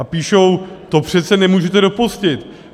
A píšou: To přece nemůžete dopustit.